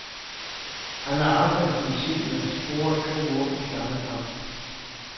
Han har aldrig, som senior, scoret to mål i samme kamp.